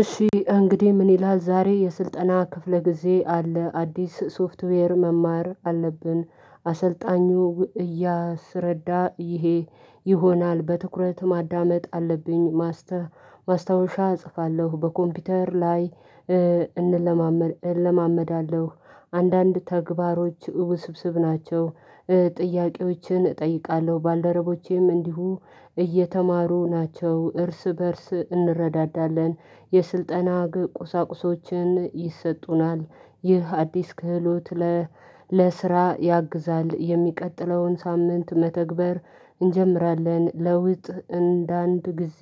እሺ እንግዲህ ምን ይላል ዛሬ የስልጠና ክፍለ ጊዜ አለ። አዲስ ሶፍትዌር መማር አለብን። አሰልጣኙ እያሰረዳ ይሄ ይሆናል በትኩረት ማዳመጥ አለብኝ ማሰብ ማስታወሻ እጽፋለሁ በኮምፒውተር ላይ እንለማመድ እለማመዳለሁ አንዳንድ ተግባሮች ውስብስብ ናቸው። ጥያቄዎችን እጠይቃለሁ ባልደረቦቼም እንዲሁ እየተማሩ ናቸው እርስ በእርስ እንረዳዳለን። የስልጠና ቁሳቁሶችን ይሰጡናል ይህ አዲስ ክህሎት ለስራ ያግዛል። የሚቀጥለውን ሳምንት መተግበር እንጀምራለን ለውጥ እንደ አንድ ጊዜ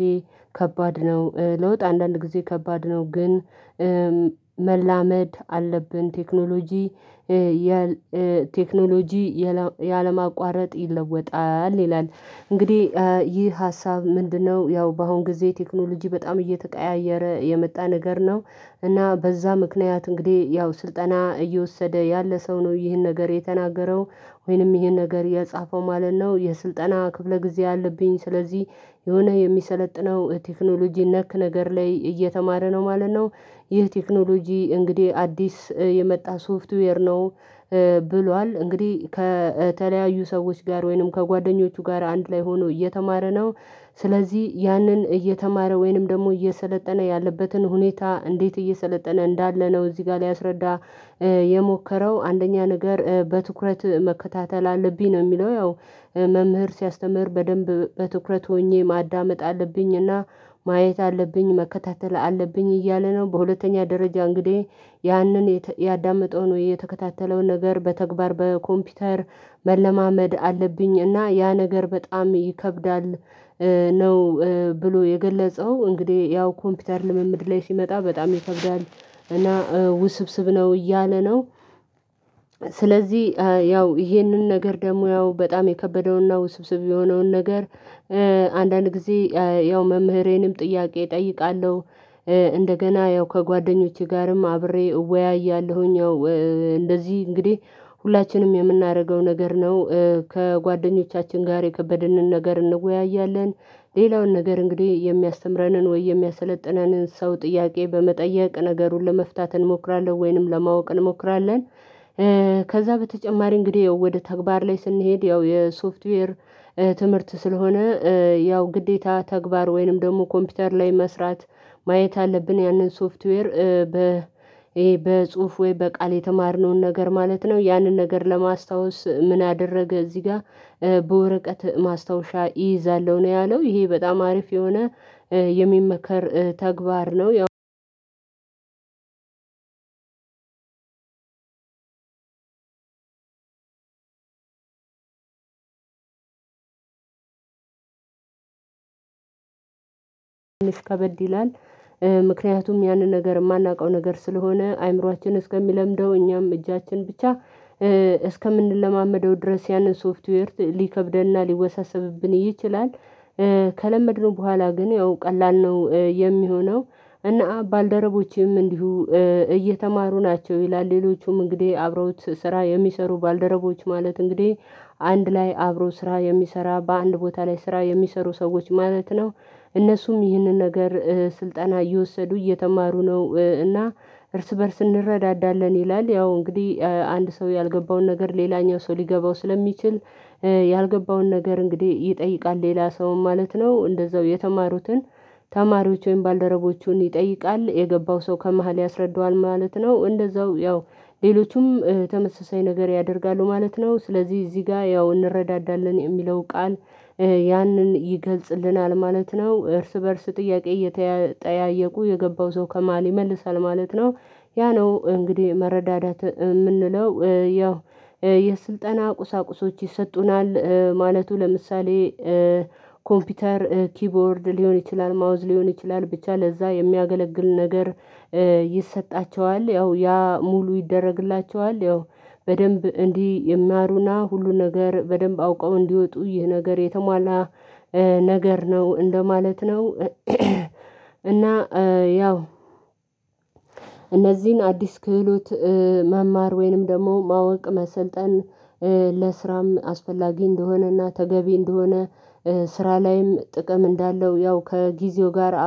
ከባድ ነው። ለውጥ አንዳንድ ጊዜ ከባድ ነው። ግን መላመድ አለብን ቴክኖሎጂ ቴክኖሎጂ ያለ ማቋረጥ ይለወጣል ይላል። እንግዲህ ይህ ሀሳብ ምንድነው? ያው በአሁን ጊዜ ቴክኖሎጂ በጣም እየተቀያየረ የመጣ ነገር ነው። እና በዛ ምክንያት እንግዲህ ያው ስልጠና እየወሰደ ያለ ሰው ነው ይህን ነገር የተናገረው ወይንም ይህን ነገር የጻፈው ማለት ነው። የስልጠና ክፍለ ጊዜ አለብኝ ስለዚህ የሆነ የሚሰለጥነው ቴክኖሎጂ ነክ ነገር ላይ እየተማረ ነው ማለት ነው። ይህ ቴክኖሎጂ እንግዲህ አዲስ የመጣ ሶፍትዌር ነው። ብሏል እንግዲህ ከተለያዩ ሰዎች ጋር ወይንም ከጓደኞቹ ጋር አንድ ላይ ሆኖ እየተማረ ነው። ስለዚህ ያንን እየተማረ ወይንም ደግሞ እየሰለጠነ ያለበትን ሁኔታ እንዴት እየሰለጠነ እንዳለ ነው? እዚህ ጋር ሊያስረዳ የሞከረው አንደኛ ነገር በትኩረት መከታተል አለብኝ ነው የሚለው ያው መምህር ሲያስተምር በደንብ በትኩረት ሆኜ ማዳመጥ አለብኝና ማየት አለብኝ መከታተል አለብኝ እያለ ነው። በሁለተኛ ደረጃ እንግዲህ ያንን ያዳመጠውን የተከታተለውን ነገር በተግባር በኮምፒውተር መለማመድ አለብኝ እና ያ ነገር በጣም ይከብዳል ነው። ብሎ የገለጸው እንግዲህ ያው ኮምፒውተር ልምምድ ላይ ሲመጣ በጣም ይከብዳል እና ውስብስብ ነው እያለ ነው። ስለዚህ ያው ይሄንን ነገር ደግሞ ያው በጣም የከበደውና ውስብስብ የሆነውን ነገር አንዳንድ ጊዜ ያው መምህሬንም ጥያቄ እጠይቃለሁ። እንደገና ያው ከጓደኞቼ ጋርም አብሬ እወያያለሁኝ። እንደዚህ እንግዲህ ሁላችንም የምናደርገው ነገር ነው ከጓደኞቻችን ጋር የከበድንን ነገር እንወያያለን። ሌላውን ነገር እንግዲህ የሚያስተምረንን ወይ የሚያሰለጥነንን ሰው ጥያቄ በመጠየቅ ነገሩን ለመፍታት እንሞክራለን ወይንም ለማወቅ እንሞክራለን። ከዛ በተጨማሪ እንግዲህ ወደ ተግባር ላይ ስንሄድ ያው የሶፍትዌር ትምህርት ስለሆነ ያው ግዴታ ተግባር ወይንም ደግሞ ኮምፒውተር ላይ መስራት ማየት አለብን ያንን ሶፍትዌር በ በጽሁፍ ወይ በቃል የተማርነውን ነገር ማለት ነው። ያንን ነገር ለማስታወስ ምን አደረገ እዚህ ጋር? በወረቀት ማስታወሻ እይይዛለሁ ነው ያለው ይሄ በጣም አሪፍ የሆነ የሚመከር ተግባር ነው። አንድ እሽ ከበድ ይላል ምክንያቱም ያንን ነገር የማናውቀው ነገር ስለሆነ አይምሮአችን እስከሚለምደው እኛም እጃችን ብቻ እስከምንለማመደው ድረስ ያንን ሶፍትዌር ሊከብደንና ሊወሳሰብብን ይችላል። ከለመድነው በኋላ ግን ያው ቀላል ነው የሚሆነው። እነ ባልደረቦቼም እንዲሁ እየተማሩ ናቸው ይላል ሌሎቹም እንግዲህ አብረውት ስራ የሚሰሩ ባልደረቦች ማለት እንግዲህ አንድ ላይ አብሮ ስራ የሚሰራ በአንድ ቦታ ላይ ስራ የሚሰሩ ሰዎች ማለት ነው። እነሱም ይህንን ነገር ስልጠና እየወሰዱ እየተማሩ ነው እና እርስ በእርስ እንረዳዳለን ይላል ያው እንግዲህ አንድ ሰው ያልገባውን ነገር ሌላኛው ሰው ሊገባው ስለሚችል። ያልገባውን ነገር እንግዲህ ይጠይቃል ሌላ ሰውም ማለት ነው እንደዛው የተማሩትን ተማሪዎች ወይም ባልደረቦቹን ይጠይቃል የገባው ሰው ከመሃል ያስረዳዋል ማለት ነው። እንደዛው ያው ሌሎቹም ተመሳሳይ ነገር ያደርጋሉ ማለት ነው። ስለዚህ እዚህ ጋ ያው እንረዳዳለን የሚለው ቃል ያንን ይገልጽልናል ማለት ነው። እርስ በእርስ ጥያቄ እየተጠያየቁ የገባው ሰው ከመሃል ይመልሳል ማለት ነው። ያ ነው እንግዲህ መረዳዳት የምንለው ያው የስልጠና ቁሳቁሶች ይሰጡናል ማለቱ ለምሳሌ ኮምፒውተር ኪቦርድ ሊሆን ይችላል ማውዝ ሊሆን ይችላል ብቻ ለዛ የሚያገለግል ነገር። ይሰጣቸዋል ያው ያ ሙሉ ይደረግላቸዋል ያው በደንብ እንዲህ ይማሩና ሁሉ ነገር በደንብ አውቀው እንዲወጡ ይህ ነገር የተሟላ ነገር ነው እንደማለት ነው። እና ያው እነዚህን አዲስ ክህሎት መማር ወይንም ደግሞ ማወቅ መሰልጠን ለስራም አስፈላጊ እንደሆነና ተገቢ እንደሆነ ስራ ላይም ጥቅም እንዳለው ያው ከጊዜው ጋር አብሮ